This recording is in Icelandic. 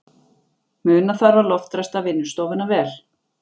Muna þarf að loftræsta vinnustofuna vel.